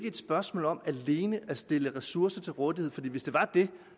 et spørgsmål om alene at stille ressourcer til rådighed for hvis det var det